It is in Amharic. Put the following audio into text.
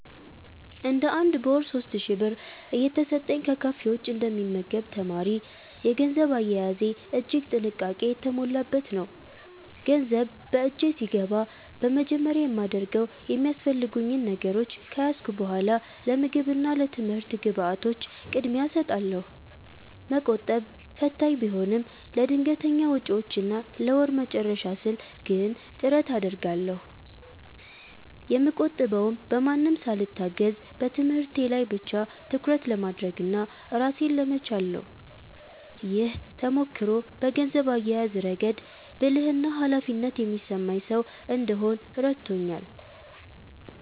እንደ አንድ በወር 3,000 ብር እየተሰጠኝ ከካፌ ውጭ እንደ ሚመገብ ተማሪ፤ የገንዘብ አያያዜ እጅግ ጥንቃቄ የተሞላበት ነው። ገንዘብ በእጄ ሲገባ በመጀመሪያ የማደርገው የሚያስፈልጉኝ ነገሮች ከያዝኩ በኃላ ለምግብ እና ለትምህርት ግብዓቶች ቅድሚያ እሰጣለሁ። መቆጠብ ፈታኝ ቢሆንም፤ ለድንገተኛ ወጪዎችና ለወሩ መጨረሻ ስል ግን ጥረት አደርጋለሁ። የምቆጥበውም በማንም ሳልታገዝ በትምህርቴ ላይ ብቻ ትኩረት ለማድረግና ራሴን ለመቻል ነው። ይህ ተሞክሮ በገንዘብ አያያዝ ረገድ ብልህና ኃላፊነት የሚሰማኝ ሰው እንድሆን ረድቶኛል።